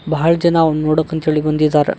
ಬಹಳ್ ಜನ ಅವುನ್ ನೋಡಕ್ ಅಂತ್ ಹೇಳಿ ಬಂದಿದ್ದಾರ.